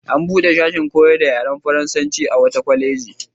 An buɗe sashin koyar da yaren faransanci a wata kwaleji.